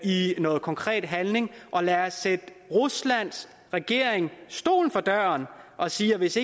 i noget konkret handling og lad os sætte ruslands regering stolen for døren og sige at hvis